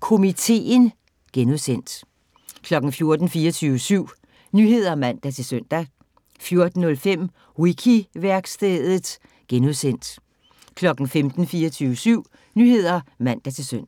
Komiteen (G) 14:00: 24syv Nyheder (man-søn) 14:05: Wiki-værkstedet (G) 15:00: 24syv Nyheder (man-søn)